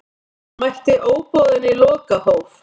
Mætti óboðinn í lokahóf